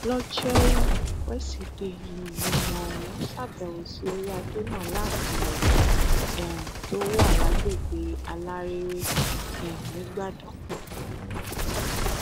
lójórú wesidee nígbìmọ ọhún ṣàbẹwò sí orí adé náà láàfin ẹ um tó wà lágbègbè alárèrè um nìgbàdàn